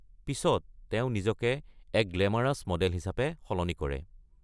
পিছত তেওঁ নিজকে এক গ্ল্যামাৰাচ মডেল হিচাপে সলনি কৰে।